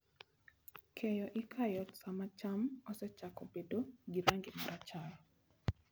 Keyo ikayo sama cham osechako bedo gi rangi ma rachar.